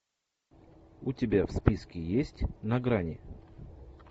у тебя в списке есть на грани